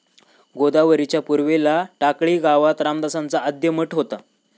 गोदावरीच्या पूर्वेला टाकळी गावात रामदासांचा आद्य मठ होता.